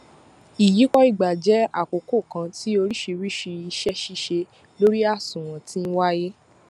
iyípo ìgbà jẹ àkókò kan tí oríṣiríṣi ise sise lori àsùnwòn ti ńwáyé